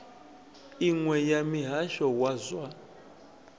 iṅwe ya muhasho wa zwa